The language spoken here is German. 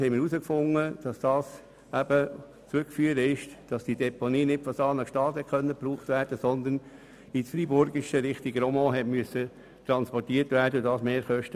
Unsere Abklärungen ergaben, dass diese Mehrkosten darauf zurückzuführen sind, dass nicht die Deponie von Saanen-Gstaad benutzt werden konnte, sondern eine im Freiburgischen und dass der Transport Richtung Romont erfolgte.